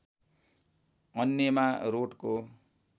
अन्यमा रोटको